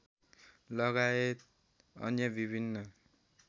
लगाएत अन्य विभिन्न